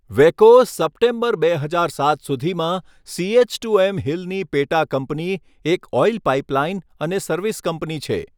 વેકો, September બે હજાર સાત સુધીમાં સીએચટુએમ હિલની પેટાકંપની, એક ઓઇલ પાઇપલાઇન અને સર્વિસ કંપની છે.